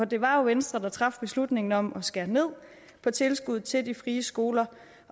det var jo venstre der traf beslutningen om at skære ned på tilskuddet til de frie skoler